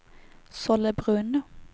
Sollebrunn